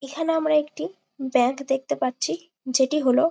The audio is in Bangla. এখানে আমরা একটি ব্যাগ দেখতে পাচ্ছি যেটি হলো--